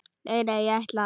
Nei, ég ætla að.